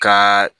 Ka